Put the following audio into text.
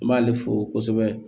N b'ale fo kosɛbɛ